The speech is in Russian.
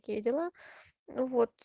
какие дела вот